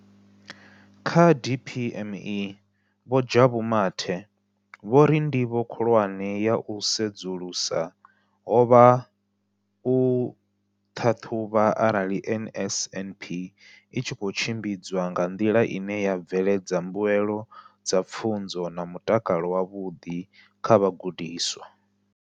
Kha DPME, Vho Jabu Mathe, vho ri ndivho khulwane ya u sedzulusa ho vha u ṱhaṱhuvha arali NSNP i tshi khou tshimbidzwa nga nḓila ine ya bveledza mbuelo dza pfunzo na mutakalo wavhuḓi kha vhagudiswa.